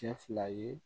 Cɛ fila ye